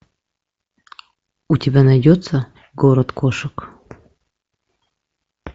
у тебя найдется город кошек